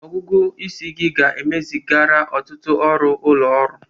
Ọgụgụ isi ga-emezigharị ọtụtụ ọrụ ụlọ ọrụ.